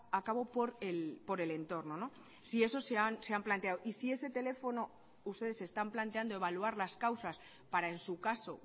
a cabo por el entorno si eso se han planteado y si ese teléfono ustedes se están planteando evaluar las causas para en su caso